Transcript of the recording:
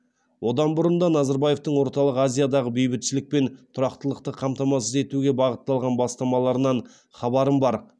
одан бұрын да назарбаевтың орталық азиядағы бейбітшілік пен тұрақтылықты қамтамасыз етуге бағытталған бастамаларынан хабарым бар